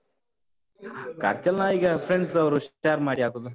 ಖರ್ಚೆಲ್ಲ ನಾವೀಗ friends ಅವರು share ಮಾಡಿ ಹಾಕುದು.